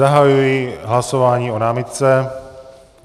Zahajuji hlasování o námitce.